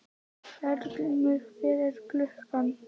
Eldgrímur, hvað er klukkan?